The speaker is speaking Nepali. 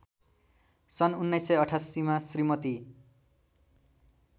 सन् १९८८मा श्रीमती